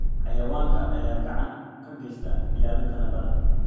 Xayawaankan ayaa gacan ka geysta ilaalinta nabadda.